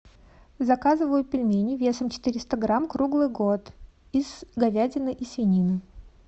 заказываю пельмени весом четыреста грамм круглый год из говядины и свинины